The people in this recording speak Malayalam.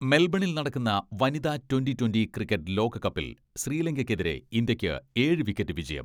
മെൽബണിൽ നടക്കുന്ന വനിതാ ട്വന്റി ട്വന്റി ക്രിക്കറ്റ് ലോകകപ്പിൽ ശ്രീലങ്കയ്ക്കെതിരെ ഇന്ത്യയ്ക്ക് ഏഴ് വിക്കറ്റ് വിജയം.